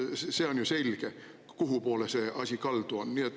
See on ju selge, kuhupoole see asi kaldu on.